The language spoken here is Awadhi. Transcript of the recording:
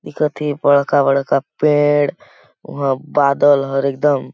एकति बड़खा-बड़खा पेड़ उहां बादल हर एकदम--